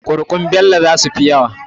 Kuri'un Bello zasu fi yawa.